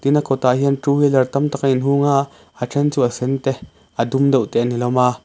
tah hian two wheeler tam tak a in hung a a then chu a sen te a dum deuh te an ni hlawm a.